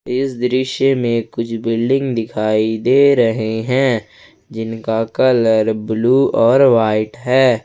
इस दृश्य में कुछ बिल्डिंग दिखाई दे रहे हैं जिनका कलर ब्लू और वाइट है।